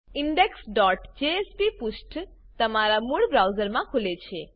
indexજેએસપી પુષ્ઠ તમારા મૂળ બ્રાઉઝરમાં ખુલે છે